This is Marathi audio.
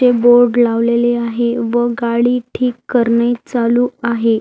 ते बोर्ड लावलेले आहे व गाडी ठीक करणे चालू आहे.